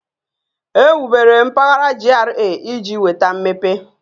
Ewubere mpaghara GRA iji weta mmepe